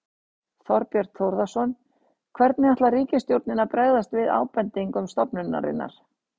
Þorbjörn Þórðarson: Hvernig ætlar ríkisstjórnin að bregðast við ábendingum stofnunarinnar?